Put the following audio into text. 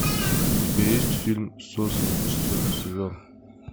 у тебя есть фильм сосны четвертый сезон